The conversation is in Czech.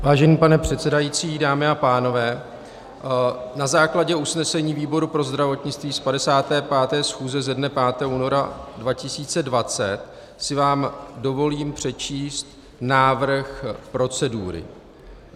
Vážený pane předsedající, dámy a pánové, na základě usnesení výboru pro zdravotnictví z 55. schůze ze dne 5. února 2020 si vám dovolím přečíst návrh procedury.